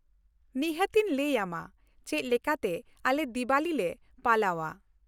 ᱱᱤᱦᱟᱹᱛ ᱤᱧ ᱞᱟᱹᱭ ᱟᱢᱟ ᱪᱮᱫ ᱞᱮᱠᱟᱛᱮ ᱟᱞᱮ ᱫᱤᱣᱟᱞᱤ ᱞᱮ ᱯᱟᱞᱟᱣᱼᱟ ᱾